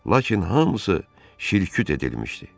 Lakin hamısı şirküt edilmişdi.